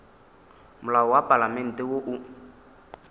molao wa palamente wo o